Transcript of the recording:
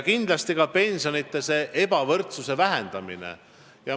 Kindlasti on eesmärk ka pensionide ebavõrdsuse vähendamine.